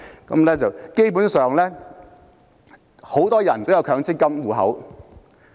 基本上，很多人也有強積金戶口。